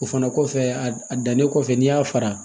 O fana kɔfɛ a dannen kɔfɛ n'i y'a fara